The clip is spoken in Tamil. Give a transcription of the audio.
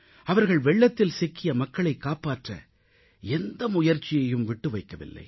அவர்கள் வெள்ளத்தில் சிக்கிய மக்களைக் காப்பாற்ற எந்த முயற்சியையும் விட்டு வைக்கவில்லை